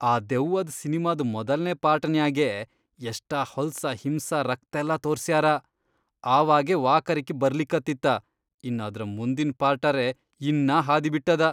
ಆ ದೆವ್ವದ್ ಸಿನ್ಮಾದ್ ಮೊದಲ್ನೇ ಪಾರ್ಟನ್ಯಾಗೇ ಎಷ್ಟ ಹೊಲ್ಸ ಹಿಂಸಾ ರಕ್ತೆಲ್ಲಾ ತೋರ್ಸ್ಯಾರ, ಆವಾಗೇ ವಾಕರಕಿ ಬರ್ಲಿಕತ್ತಿತ್ತಾ ಇನ್ ಅದ್ರ ಮುಂದಿನ್ ಪಾರ್ಟರೇ ಇನ್ನಾ ಹಾದಿಬಿಟ್ಟದ.